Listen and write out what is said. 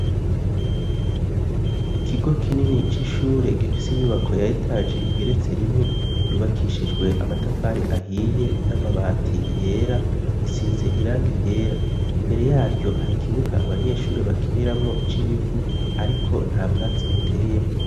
ikigo kinini c'ishure gifise inyubako ya etaje igeretse rimwe yubakishijwe amatafari ahiye n'amabati yera isize irangi ryera imbere yaryo hari kibuga abanyeshuri bakiniramwo c'ibivu ariko nta bwatsi buteyemwo